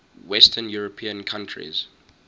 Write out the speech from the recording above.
western european countries